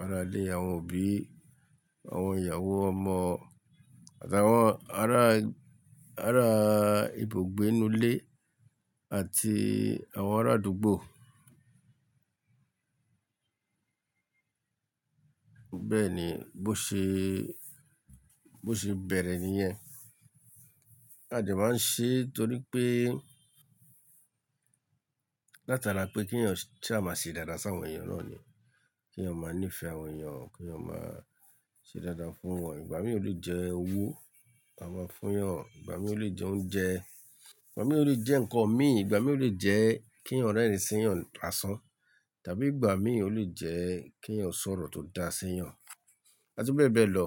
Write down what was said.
ará ilé, àwọn òbí, àwọn ìyàwó ọmọ àti àwọn ará, ará ibùgbé inú ilé àti àwọn ará àdúgbò. Bẹ́ẹ̀ ni, bó ṣe, bó ṣe bẹ̀rẹ̀ ní yẹn. A dẹ máa ń ṣe torí pé látara pé kí ẹ̀yàn sa máa ṣe dáadáa sí àwọn èèyàn náà ni. Kí ẹ̀yàn máa nífẹ̀ẹ́ àwọn èèyàn, kí ẹ̀yàn máa ṣe dáadáa fún wọn. Ìgbà mìíràn ó lè jẹ́ owó a máa fún wọn, ìgbà mìíràn ó lè jẹ́ oúnjẹ, ìgbà mìíràn ó lè jẹ́ ǹkan mi, ìgbà mìíràn ó lè jẹ́ kí ẹ̀yàn rẹ́rìn sí ẹ̀yàn làsán tàbí ìgbà mìíràn ó lè jẹ́ kí ẹ̀yàn sọ̀rọ̀ tó dáa sínú ẹ̀yàn àti bẹ́ẹ̀ bẹ́ẹ̀ lọ.